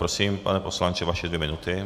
Prosím, pane poslanče, vaše dvě minuty.